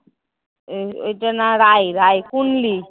ওই ওই ঐটার নাম রাই রাই খুনলি।